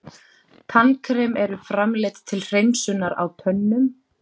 Tannkrem eru framleidd til hreinsunar á tönnum.